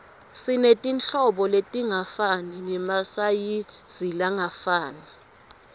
simetirhlobo letingafani nemasayizilangafani